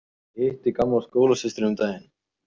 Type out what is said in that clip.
Ég hitti gamla skólasystur um daginn.